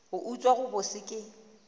go utswa go bose ke